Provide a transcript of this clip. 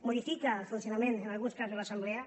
modifica el funcionament en alguns casos de l’assemblea